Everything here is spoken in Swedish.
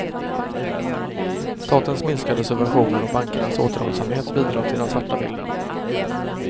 Statens minskade subventioner och bankernas återhållsamhet bidrar till den svarta bilden.